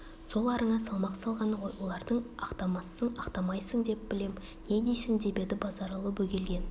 сол арыңа салмақ салғаны ғой олардың ақтамассың ақтамайсың деп білем не дейсің деп еді базаралы бөгелген